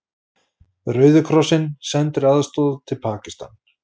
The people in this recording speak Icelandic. Rauði krossinn sendir aðstoð til Pakistans